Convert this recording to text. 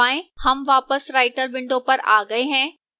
हम वापस writer window पर आ गए हैं